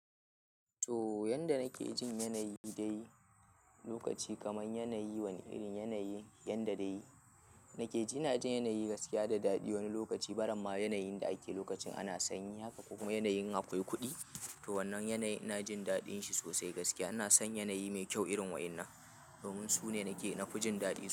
To yanda nake jin yanayi da yi lokaci kamar yanayi, wani irin yanayi yanda dai nake ji, ina jin yanayi gaskiya da daɗi wani lokaci. Baramma yanayin da ake lokacin ana sanyi haka kuma yanayin akwai kuɗi. To wannan yanayin ina jin daɗin shi sosai gaskiya ina san yanayi mai kyau irin waɗannan domin su ne nake, na fi jin daɗin su.